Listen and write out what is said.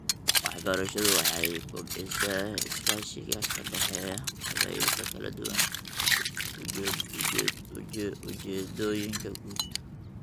Waxbarashadu waxay kobcisaa iskaashiga ka dhexeeya qabaa'ilka kala duwan ujeedooyinka guud.